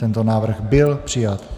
Tento návrh byl přijat.